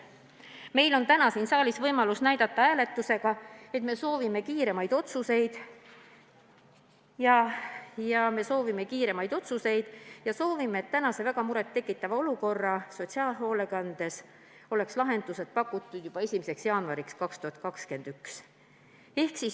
Meil on täna siin saalis võimalus hääletusega näidata, et me soovime kiiremaid otsuseid, me soovime, et praeguse väga murettekitava olukorra lahendused oleks pakutud juba 1. jaanuariks 2021.